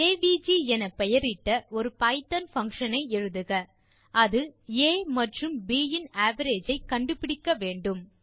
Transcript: AVG என பெயரிட்ட ஒரு பைத்தோன் பங்ஷன் ஐ எழுதுக அது ஆ மற்றும் ப் இன் அவரேஜ் ஐ கண்டுபிடிக்க வேண்டும்